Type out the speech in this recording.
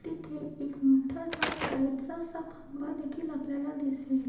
तिथे एक मोठा सा लाइट चा असा खांबा देखील आपल्याला दिसेल.